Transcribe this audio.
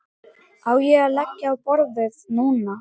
Á ég að leggja á borðið núna?